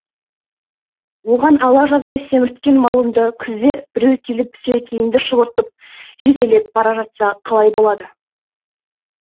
оған ала жаздай семірткен малыңды күзде біреу келіп сілекейіңді шұбыртып жетелеп бара жатса қалай болады